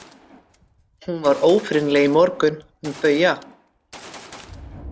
Hún var ófrýnileg í morgun, hún Bauja.